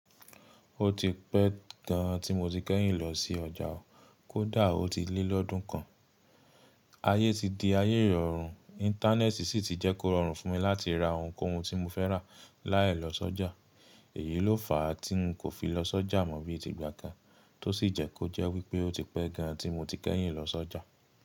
Ó ti pẹ́ gan an tí mo ti kẹ́yìn lọ sí ọjà o. Kódà ó ti lé lọ́dún kan. Ayé ti di ayé ìrọ̀rùn, Íńtánẹ́ẹ̀tì sì ti jẹ́ kó rọrùn fún mi láti ra ohunkóhun tí mo fẹ́ rà láì lọ sọ́jà. Èyí ló fà tí ń kò fi lọ sọ́jà mọ́ bí i ti ìgbà kan, tó sì jẹ́ kó jẹ́ wípé ó ti pẹ́ gan an tí mo ti kẹ́yìn lọ sọ́jà.